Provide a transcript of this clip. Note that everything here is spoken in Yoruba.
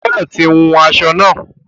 O ò gbọ̀dọ tí wun aṣọ náà.